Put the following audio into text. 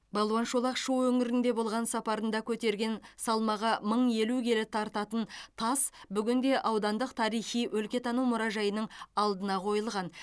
балуан шолақ шу өңірінде болған сапарында көтерген салмағы мың елу келі тартатын тас бүгінде аудандық тарихи өлкетану мұражайының алдына қойылған